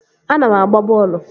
Ana m agba bọọlụ